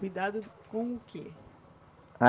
Cuidado com o quê?